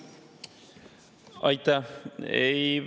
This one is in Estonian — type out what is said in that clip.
Aitäh!